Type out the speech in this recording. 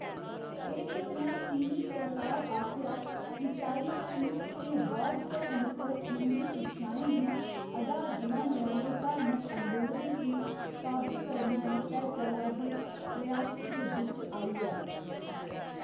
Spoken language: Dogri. एह्‌‌ घटना चीनी सरकार आसेआ ईसाई धर्म ते बौद्ध धर्म पर उं'दी शिक्षाएं गी अधार बनाने आह्‌‌‌ले धार्मक अंदोलनें गी काबू करने आस्तै चला'रदे प्रयासें दे बिच्च आई ऐ।